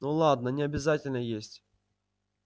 ну ладно не обязательно есть